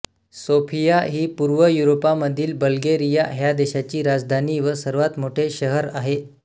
Sofia ही पूर्व युरोपामधील बल्गेरिया ह्या देशाची राजधानी व सर्वात मोठे शहर आहे